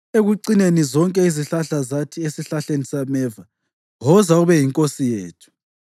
Ekucineni zonke izihlahla zathi esihlahleni sameva, ‘Woza ube yinkosi yethu.’